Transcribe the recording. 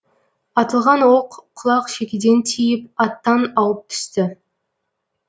атылған оқ құлақ шекеден тиіп аттан ауып түсті